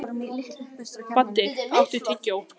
Baddi, áttu tyggjó?